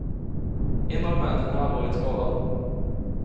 En av männen är allvarligt skadad.